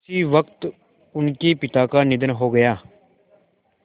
उसी वक़्त उनके पिता का निधन हो गया